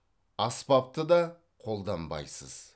аспапты да қолданбайсыз